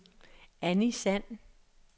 Annie Sand